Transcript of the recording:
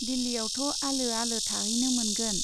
दिल्लीयावथ' आलो आलो थाहैनो मोनगोन।